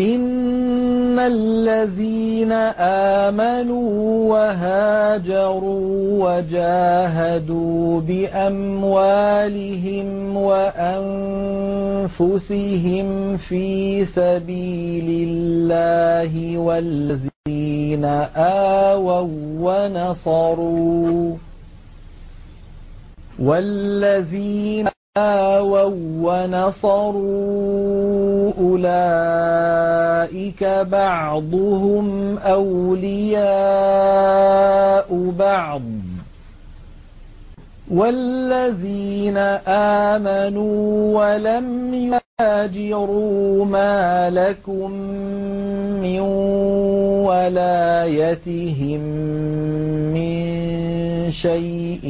إِنَّ الَّذِينَ آمَنُوا وَهَاجَرُوا وَجَاهَدُوا بِأَمْوَالِهِمْ وَأَنفُسِهِمْ فِي سَبِيلِ اللَّهِ وَالَّذِينَ آوَوا وَّنَصَرُوا أُولَٰئِكَ بَعْضُهُمْ أَوْلِيَاءُ بَعْضٍ ۚ وَالَّذِينَ آمَنُوا وَلَمْ يُهَاجِرُوا مَا لَكُم مِّن وَلَايَتِهِم مِّن شَيْءٍ